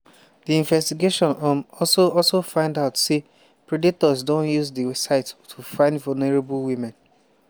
di investigation um also also find out say predators don use di site to find vulnerable women.